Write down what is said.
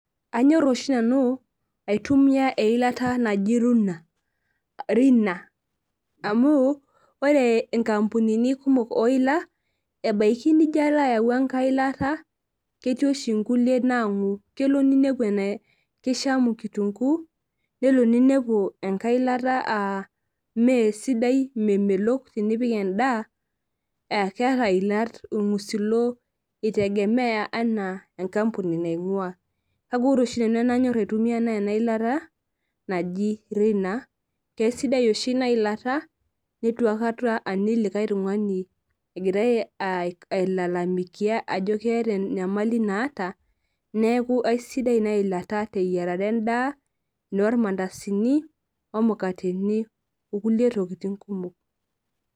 Anyor oshi nanu aitumia eilata naji runa rina amu ore nkampunini kumok oila ebaki nilo ayau enkai ilata ketii oshibnkulie nangu kelo ninepu kishamu kitunguu nelo ninepu enkai ilata na mesidai memelok tenipik endaa keeta iilat irngusilo itegemea ana enkampuni naingua kake ore oshi enanyor aitumia na enailata naji rina kesidai oshi inailata nituaikata aning likae tungani egira ai lalamikia ajo keeta enyamali naata neaku aisidai inailata teyiarare endaa tormandasini omukateni okulie tokitin kumok